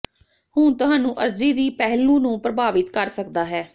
ਹੁਣ ਤੁਹਾਨੂੰ ਅਰਜ਼ੀ ਦੀ ਪਹਿਲੂ ਨੂੰ ਪ੍ਰਭਾਵਿਤ ਕਰ ਸਕਦਾ ਹੈ